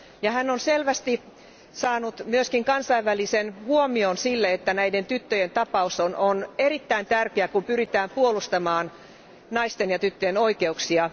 Hän on selvästi saanut myöskin kansainvälisen huomion sille, että näiden tyttöjen tapaus on erittäin tärkeä, kun pyritään puolustamaan naisten ja tyttöjen oikeuksia.